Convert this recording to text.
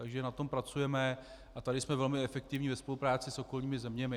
Takže na tom pracujeme a tady jsme velmi efektivní ve spolupráci s okolními zeměmi.